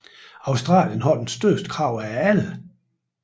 Australien har det største krav af alle